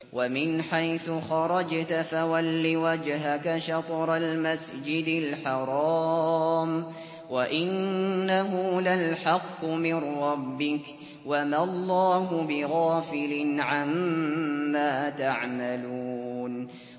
وَمِنْ حَيْثُ خَرَجْتَ فَوَلِّ وَجْهَكَ شَطْرَ الْمَسْجِدِ الْحَرَامِ ۖ وَإِنَّهُ لَلْحَقُّ مِن رَّبِّكَ ۗ وَمَا اللَّهُ بِغَافِلٍ عَمَّا تَعْمَلُونَ